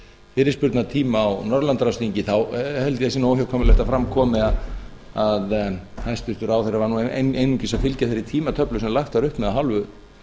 fyrirspurnatíma á norðurlandaráðsþingi þá held ég að það sé óhjákvæmilegt að fram komi að hæstvirtur ráðherra var einungis að fylgja þeirri tímatöflu sem lagt var upp með af hálfu